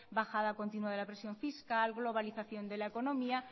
bajada continua de la presión fiscal globalización de la economía